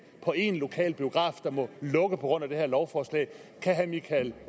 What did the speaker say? på en lokalbiograf der må lukke på grund af det her lovforslag kan herre michael